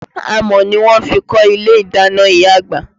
Amọ̀ ni wọ́n fi kọ́ ilé ìdáná ìyá àgbà.